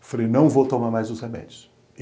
Eu falei, não vou tomar mais os remédios.